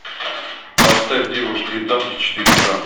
поставь девушки и танки четыре ка